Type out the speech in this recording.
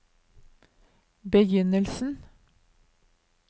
begynnelsen